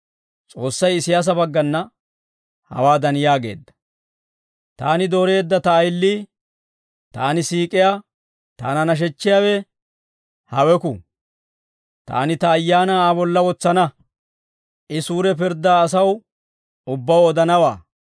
S'oossay Isiyaasa baggana hawaadan yaageedda; «Taani dooreedda ta ayilii, taani siik'iyaa, taana nashechchiyaawe haweku. Taani ta Ayaanaa Aa bolla wotsana. I suure pirddaa asaw ubbaw odanawaa.